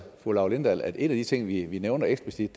fru laura lindahl at en af de ting vi nævner eksplicit